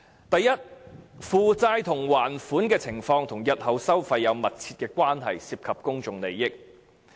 第一，負債及還款情況與日後收費有密切關係，涉及公眾利益。